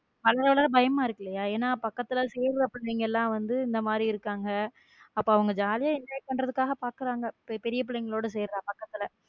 வளர வளர பயமா இருக்கு இல்ல ஏன்னா பக்கத்துல சேர்ரப்பிள்ளைகள் எல்லாம் வந்து இந்த மாதிரி இருக்காங்க அப்போ உங்க jolly யா enjoy பண்றதுக்காக பாக்குறாங்க பெரிய பிள்ளைகளோடு சேரா பக்கத்துல.